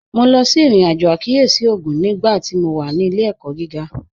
Mo lọ sí irin-ajo àkíyèsí ogún nígbàtí mó wà ní ilẹ̀-ẹ̀kọ̀ gígà